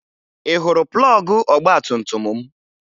Ị hụrụ plọọgụ ọgbatumtum m?